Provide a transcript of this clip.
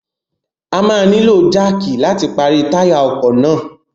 A máa nílò jáàkì láti pàrọ̀ táyà ọkọ̀ náà.